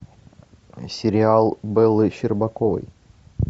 сериал бэлы щербаковой